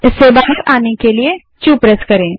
इससे बाहर आने के लिए क्यू दबायें